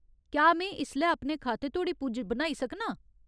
क्या में इसलै अपने खाते धोड़ी पुज्ज बनाई सकनां ?